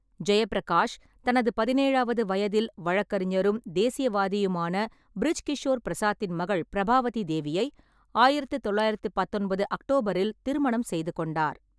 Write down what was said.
ஜெயப்பிரகாஷ் தனது பதினேழாவது வயதில், வழக்கறிஞரும் தேசியவாதியுமான பிரிஜ் கிஷோர் பிரசாத்தின் மகள் பிரபாவதி தேவியை ஆயிரத்து தொள்ளாயிரத்து பத்தொன்பது அக்டோபரில் திருமணம் செய்து கொண்டார்.